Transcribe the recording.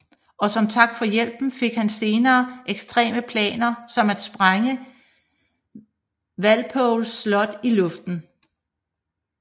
Og som tak for hjælpen fik han senere ekstreme planer som at sprænge Wapols slot i luften